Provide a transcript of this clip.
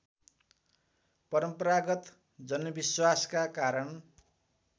परम्परागत जनविश्वासका कारण